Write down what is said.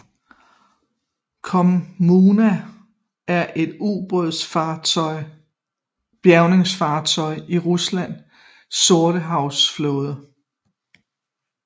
Kommuna er et ubådsbjærgingfartøj i Ruslands sortehavsflåde